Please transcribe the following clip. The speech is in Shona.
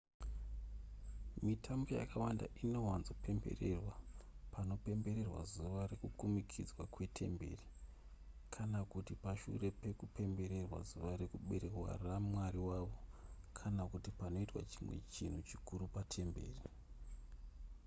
mitambo yakawanda inowanzopembererwa panopembererwa zuva rekukumikidzwa kwetemberi kana kuti pashure pekupemberera zuva rekuberekwa ramwari wavo kana kuti panoitwa chimwe chinhu chikuru patemberi